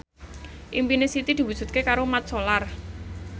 impine Siti diwujudke karo Mat Solar